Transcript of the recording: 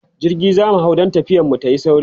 jirgi zamu hau dan tafiyar mu tayi sauri